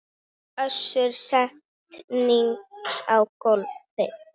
Össur settist á gólfið